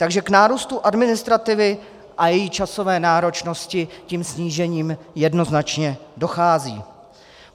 Takže k nárůstu administrativy a její časové náročnosti tím snížením jednoznačně dochází.